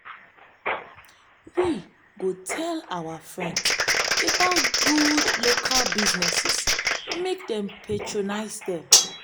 we go tell our friends about good local businesses make dem patronize dem.